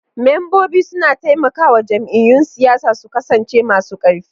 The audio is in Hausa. Membobi suna taimakawa jam'iyyun siyasa su kasance masu karfi.